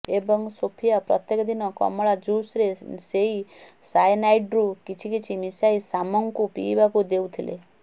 ଏବଂ ସୋଫିଆ ପ୍ରତ୍ୟେକ ଦିନ କମଳା ଜୁସ୍ରେ ସେଇ ସାଏନାଇଡ୍ରୁ କିଛିକିଛି ମିଶାଇ ସାମ୍ଙ୍କୁ ପିଇବାକୁ ଦେଉଥିଲେ